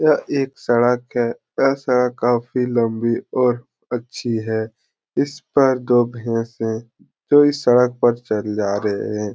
यह एक सड़क है। यह सड़क काफ़ी लंबी और अच्छी है। इस पर दो भैसे तो ही सड़क पर चल जा रहे है।